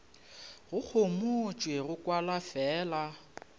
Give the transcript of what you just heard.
go homotšwe go kwala fela